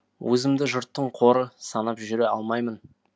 өзімді жұрттың қоры санап жүре алмаймын